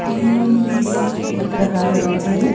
तीन पीस दिख रहा है मुझे--